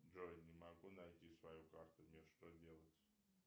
джой не могу найти свою карту мне что делать